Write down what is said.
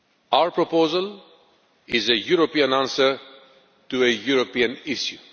Our proposal is a European answer to a European